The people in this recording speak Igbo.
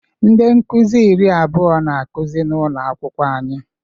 Ndị nkuzi iri abụọ na-akụzi n'ụlọ akwụkwọ anyị.